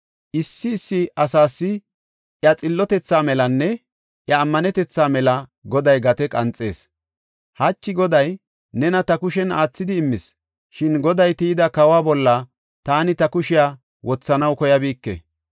Issi issi asas iya xillotethaa melanne iya ammanetetha mela Goday gate qanxees. Hachi Goday nena ta kushen aathidi immis; shin Goday tiyida kawa bolla taani ta kushiya wothanaw koyabike.